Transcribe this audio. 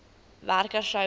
werker sou gekry